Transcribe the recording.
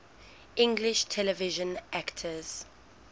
english television actors